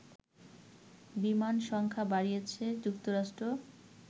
বিমান সংখ্যা বাড়িয়েছে যুক্তরাষ্ট্র